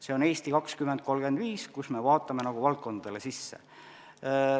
See on "Eesti 2035", kus me vaatame valdkondade sisse.